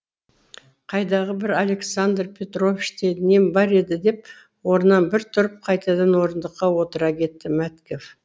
қайдағы бір александр петровичте нем бар еді деп орнынан бір тұрып қайтадан орындыққа отыра кетті мәткев